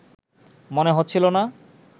মনে হচ্ছিল না